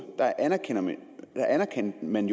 anerkendte man